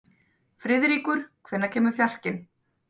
Friðríkur, hvenær kemur fjarkinn?